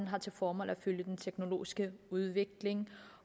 har til formål at følge den teknologiske udvikling